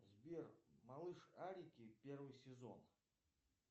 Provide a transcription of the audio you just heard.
сбер малышарики первый сезон